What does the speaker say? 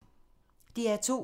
DR2